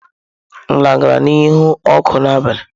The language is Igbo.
Nla gara n'ihu ọkụ n'abalị.